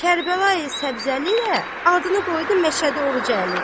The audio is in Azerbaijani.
Kərbəlayı Səbzəli də adını qoydu Məşədi Orucalı.